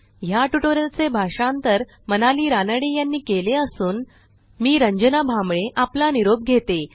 ह्या ट्युटोरियलचे भाषांतर मनाली रानडे यांनी केले असून मीरंजना भांबळे आपला निरोप घेते160